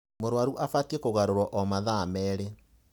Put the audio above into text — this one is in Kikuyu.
Mũrũaru abatiĩ kũgarũrwo o mathaa merĩĩ.